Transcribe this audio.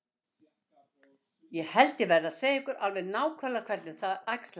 Ég held ég verði að segja ykkur alveg nákvæmlega hvernig það æxlaðist til.